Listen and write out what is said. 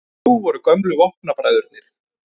Nú voru gömlu vopnabræðurnir